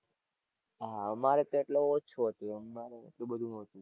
હાં અમારે તો એટલે ઓછું હતું. અમારે એટલું બધું નહોતું.